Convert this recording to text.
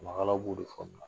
Ɲamakalaw b'o de